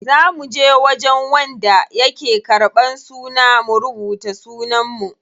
Za muje wajen wanda yake ƙarban suna mu rubuta sunan mu.